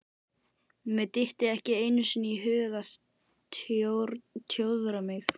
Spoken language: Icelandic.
Mér dytti ekki einu sinni í hug að tjóðra mig.